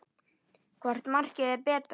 Hvort markið er betra?